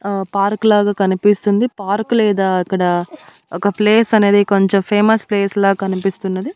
ఆ పార్క్ లాగా కనిపిస్తుంది పార్కు లేదా అక్కడ ఒక ప్లేస్ అనేది కొంచెం ఫేమస్ ప్లేస్ ల కనిపిస్తున్నది.